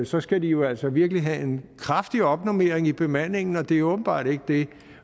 så skal de jo altså virkelig have en kraftig opnormering i bemandingen og det er åbenbart ikke det